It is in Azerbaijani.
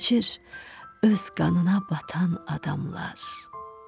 Keçir öz qanına batan adamlar.